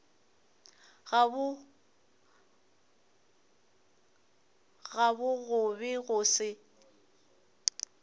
gabo go be go se